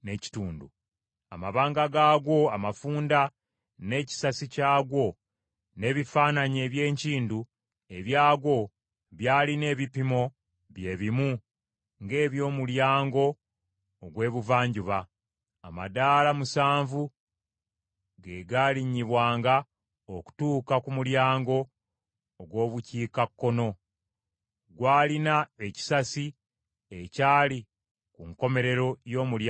Amabanga gaagwo amafunda, n’ekisasi kyagwo, n’ebifaananyi eby’enkindu ebyagwo byalina ebipimo bye bimu ng’eby’omulyango ogw’Ebuvanjuba. Amadaala musanvu ge galinnyibwanga okutuuka ku mulyango ogw’Obukiikakkono. Gwalina ekisasi ekyali ku nkomerero y’omulyango ogwo.